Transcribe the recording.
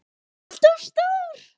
ALLT OF STÓR!